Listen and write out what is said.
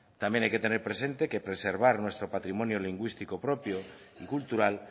también hay que tener presente que preservar nuestro patrimonio lingüístico propio y cultural